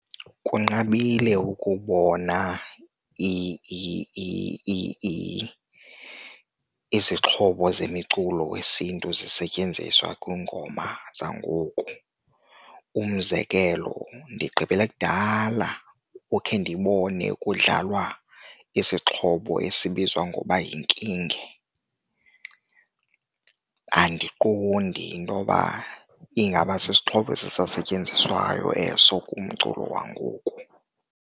Kunqabile ukubona izixhobo zemiculo wesiNtu zisetyenziswa kwiingoma zangoku. Umzekelo ndigqibele kudala ukhe ndibone kudlalwa isixhobo esibizwa ngoba yinkinge, andiqondi intoba ingaba sisixhobo ezisasetyenziswayo eso kumculo wangoku.